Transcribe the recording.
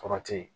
Kɔrɔ te ye